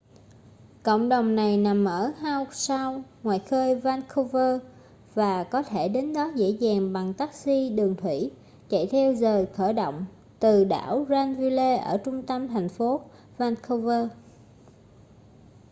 cộng đồng này nằm ở howe sound ngoài khơi vancouver và có thể đến đó dễ dàng bằng taxi đường thủy chạy theo giời khởi hành từ đảo granville ở trung tâm thành phố vancouver